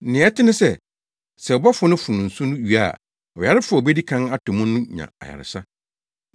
Nea ɛte ne sɛ, sɛ ɔbɔfo no fono nsu no wie a, ɔyarefo a obedi kan atɔ mu no nya ayaresa.